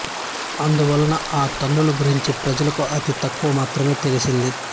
అందువలన ఆ తల్లుల గురించి ప్రజలకు అతి తక్కువ మాత్రమే తెలిసింది